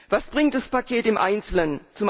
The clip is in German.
Was bringt das Paket im Einzelnen?